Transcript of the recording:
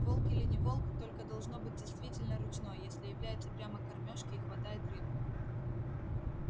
волк или не волк только должно быть действительно ручной если является прямо к кормёжке и хватает рыбу